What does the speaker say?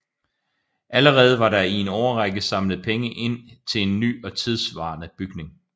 Allerede var der i en årrække samlet penge ind til en ny og tidssvarende bygning